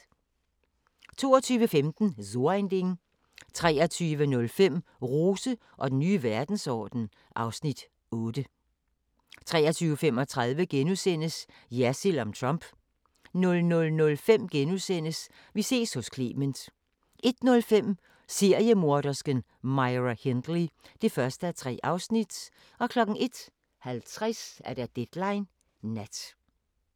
22:15: So ein Ding 23:05: Rose og den nye verdensorden (Afs. 8) 23:35: Jersild om Trump * 00:05: Vi ses hos Clement * 01:05: Seriemordersken Myra Hindley (1:3) 01:50: Deadline Nat